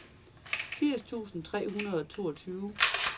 firs tusind tre hundrede og toogtyve